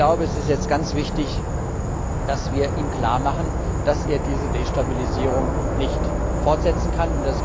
Ich glaube, es ist jetzt ganz wichtig, dass wir ihm klar machen, dass er diese Destabilisierung nicht fortsetzen kann.